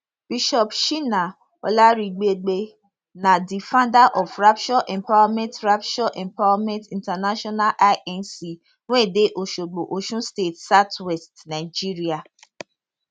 bishop shina olaribigbe na di founder of rapture empowerment rapture empowerment intl inc wey dey osogbo osun state southwest nigeria